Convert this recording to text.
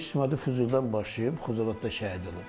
Döyüş Xızıdan başlayıb, Xocavənddə şəhid olub.